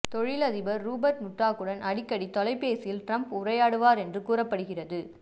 தொழில் அதிபர் Rupert Murdoch உடன் அடிக்கடி தொலைபேசியில் டிரம்ப் உரையாடுவார் என்று கூறப்படுகிறதுபடத்தின்